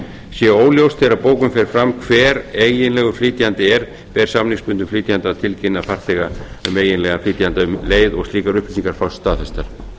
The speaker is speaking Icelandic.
sé óljóst þegar bókun fer fram hver eiginlegur flytjandi er ber samningsbundnum flytjanda að tilkynna farþega um hinn eiginlega flytjanda um leið og slíkar upplýsingar fást staðfestar